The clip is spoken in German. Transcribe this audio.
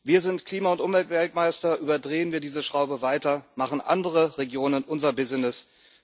Wir sind Klima und Umweltweltmeister überdrehen wir diese Schraube weiter, machen andere Regionen unser Business.